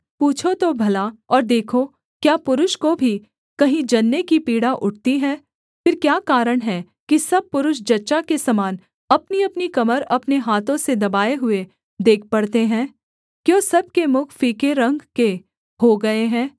पूछो तो भला और देखो क्या पुरुष को भी कहीं जनने की पीड़ा उठती है फिर क्या कारण है कि सब पुरुष जच्चा के समान अपनीअपनी कमर अपने हाथों से दबाए हुए देख पड़ते हैं क्यों सब के मुख फीके रंग के हो गए हैं